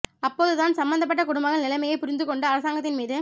அப்போது தான் சம்பந்தப்பட்ட குடும்பங்கள் நிலைமையைப் புரிந்து கொண்டு அரசாங்கத்தின் மீது